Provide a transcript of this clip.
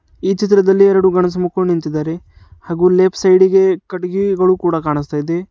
ಈ ಚಿತ್ರದಲ್ಲಿ ಎರ್ಡು ಗಂಡ್ಸು ಮಕ್ಕೋಳ್ ನಿಂತಿದ್ದಾರೆ ಹಾಗು ಲೆಫ್ಟ್ ಸೈಡ್ ಗೆ ಕಟ್ಟಿಗಿಗಳು ಕೂಡ ಕಾಣಿಸ್ತಾ ಇದೆ.